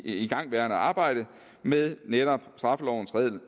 igangværende arbejde med netop straffelovens